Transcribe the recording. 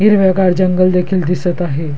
हिरवे गार जंगल देखील दिसत आहे.